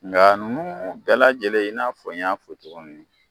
Nka nunnu bɛɛ lajɛlen i n'a fɔ n y'a fɔ cogo min